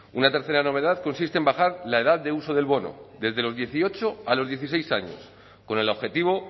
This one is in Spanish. una tercera novedad consiste en bajar la edad de uso del bono desde los dieciocho a los dieciséis años con el objetivo